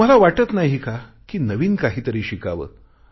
तुम्हाला वाटत नाही का कि नवीन काहीतरी शिकावे